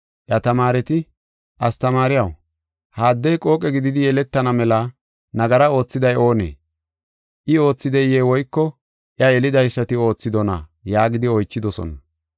Iya tamaareti, “Astamaariyaw, ha addey qooqe gididi yeletana mela nagara oothiday oonee? I oothideye woyko iya yelidaysati oothidona?” yaagidi oychidosona.